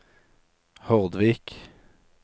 Hordvik